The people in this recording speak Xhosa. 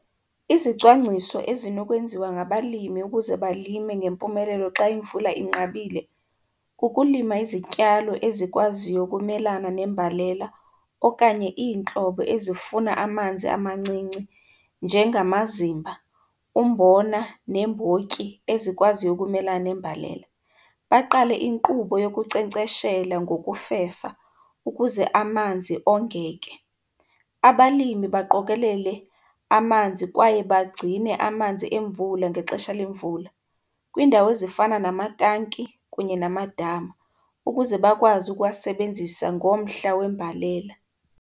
Izicwangciso ezinokwenziwa ngabalimi ukuze balime ngempumelelo xa imvula inqabile kukulima izityalo ezikwaziyo ukumelana nembalela okanye iintlobo ezifuna amanzi amancinci, njengamazimba, umbona neembotyi ezikwaziyo ukumelana nembalela. Baqale inkqubo yokunkcenkceshela ngokufefa ukuze amanzi ongeke. Abalimi baqokelele amanzi kwaye bagcine amanzi emvula ngexesha lemvula kwiindawo ezifana namatanki kunye namadama, ukuze bakwazi ukuwasebenzisa ngomhla wembalela.